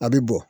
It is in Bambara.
A bɛ bɔn